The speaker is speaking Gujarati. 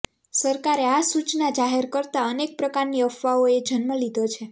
સરકારે આ સૂચના જાહેર કરતા અનેક પ્રકારની અફવાઓએ જન્મ લીધો છે